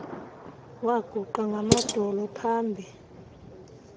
waguqa ngamadolo pahambi